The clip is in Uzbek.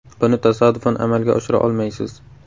Buni tasodifan amalga oshira olmaysiz”.